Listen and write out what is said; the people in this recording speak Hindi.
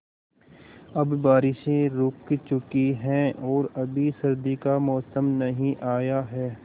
अब बारिशें रुक चुकी हैं और अभी सर्दी का मौसम नहीं आया है